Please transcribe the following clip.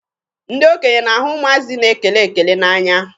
Ndị okenye na-ahụ ụmụazị na-ekele ekele n'anya.